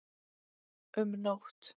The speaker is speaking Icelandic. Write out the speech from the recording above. Um nótt